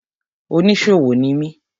Oníṣòwò ni mi.